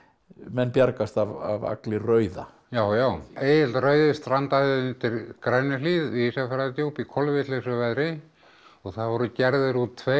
menn bjargast af Agli rauða já já Egill rauði strandaði undir Grænuhlíð við Ísafjarðardjúp í kolvitlausu veðri og það voru gerðir út tveir